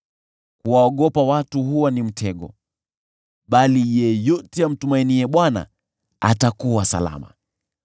Kuwaogopa watu huwa ni mtego, bali yeyote amtumainiaye Bwana atakuwa salama.